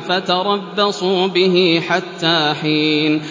فَتَرَبَّصُوا بِهِ حَتَّىٰ حِينٍ